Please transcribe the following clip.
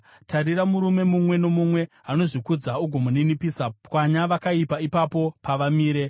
tarira murume mumwe nomumwe anozvikudza ugomuninipisa, pwanya vakaipa ipapo pavamire.